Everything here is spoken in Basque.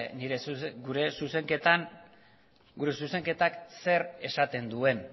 gure zuzenketak zer esaten duen